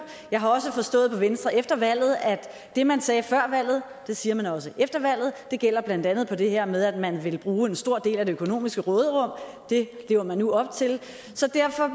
jeg har også forstået på venstre efter valget at det man sagde før valget siger man også efter valget det gælder blandt andet for det her med at man vil bruge en stor del af det økonomiske råderum det lever man nu op til så derfor